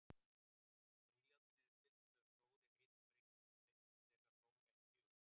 Ef ílátin eru tiltölulega stór er hitabreyting þeirra þó ekki ör.